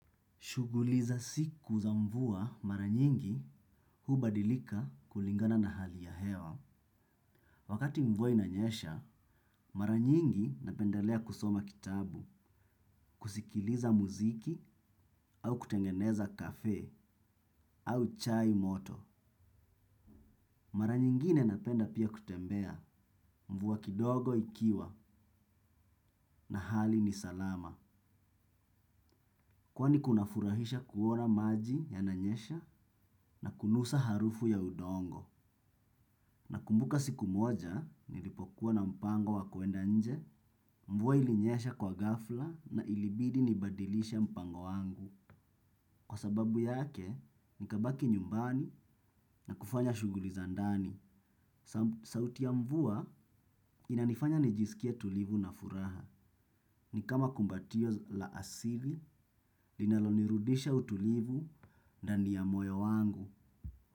Shuguli za siku za mvua mara nyingi hubadilika kulingana na hali ya hewa. Wakati mvua inanyesha, maranyingi napendalea kusoma kitabu, kusikiliza muziki au kutengeneza kafe au chai moto. Mara nyingine napenda pia kutembea mvua kidogo ikiwa na hali ni salama. Kwa ni kunafurahisha kuona maji yananyesha na kunusa harufu ya udongo. Nakumbuka siku moja, nilipokuwa na mpango wa kuenda nje, mvuwa ilinyesha kwa gafla na ilibidi nibadilishe mpango wangu. Kwa sababu yake, nikabaki nyumbani na kufanya shuguli za ndani. Sauti ya mvuwa inanifanya nijisikie tulivu na furaha. Ni kama kumbatio la asili, linalonirudisha utulivu ndani ya moyo wangu.